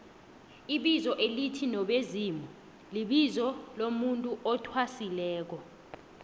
ibizo elithi nobezimulibizo lomuntu athwasileko